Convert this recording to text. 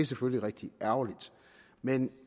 selvfølgelig rigtig ærgerligt men